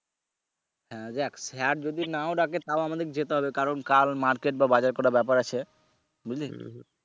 হ্যা যাক sir যদি নাও ঢাকে তাও আমাদেরকে যেতে হবে কারন কাল market বা বাজার করার ব্যাপার আছে বুঝলি?